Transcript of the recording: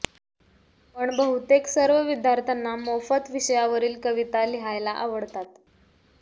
पण बहुतेक सर्व विद्यार्थ्यांना मोफत विषयावरील कविता लिहायला आवडतात